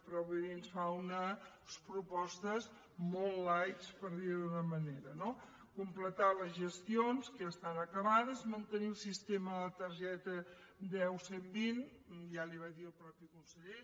però bé ens fa unes propostes molt lightsho d’una manera no completar les gestions que ja estan acabades mantenir el sistema de la targeta deu cent i vint ja li va dir el mateix conseller